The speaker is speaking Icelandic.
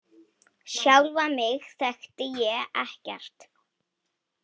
Sjálfa mig þekkti ég ekkert.